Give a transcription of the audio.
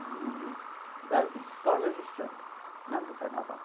É o mundo das escolas de samba, não do carnaval.